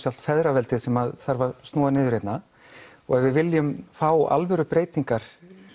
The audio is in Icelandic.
feðraveldið sem þarf að snúa niður hérna og ef við viljum alvöru breytingar